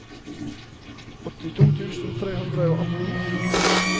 åttito tusen tre hundre og atten